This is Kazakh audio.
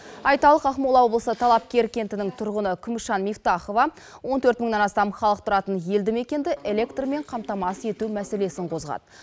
айталық ақмола облысы талапкер кентінің тұрғыны күмісжан мифтахова он төрт мыңнан астам халық тұратын елді мекенді электрмен қамтамасыз ету мәселесін қозғады